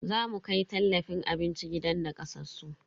Zamu kai tallafin abinci gidan nakasassu.